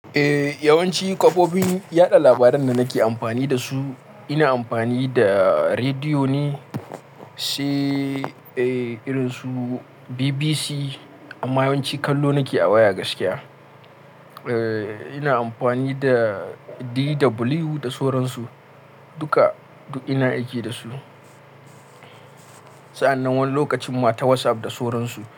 Eh yawanci kafofin yada labaran da nake amfani da su ina amfani da rediyo ne, sai irin su BBC amma yawanci kallo nake a waya gaskiya. Eh ina amfani da DW da sauran su duka duk ina aiki da su. Sa'annan wani lokacin ma ta WhatsApp da soran su.